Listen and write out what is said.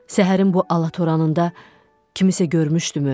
Səhərin bu alatoranında kimisə görmüşdümü?